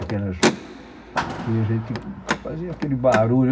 Aquelas que a gente fazia aquele barulho.